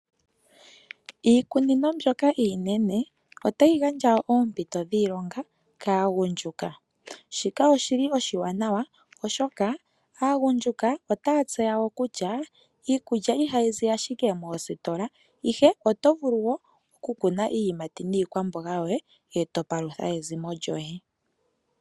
Iikunino mbyoka iinene, otayi gandja oompito dhiilonga kaagundjuka. Shika oshi li oshiwanawa, oshoka aagundjuka otaya tseya wo kutya iikulya ihayi zi ashike moositola, ihe oto vulu wo okukuna iiyimati niikwambonga yoye, e to palutha ezimo lyoye.